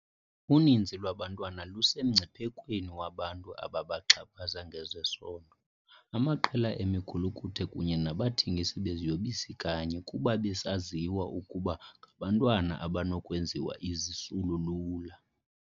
Uninzi lwabantwana lusemngciphekweni wabantu ababaxhaphaza ngezesondo, amaqela emigulukudu kunye nabathengisi beziyobisi kanye kuba besaziwa ukuba ngabantwana abanokwenziwa izisulu lula.